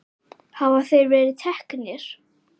Hafa þeir verið teknir?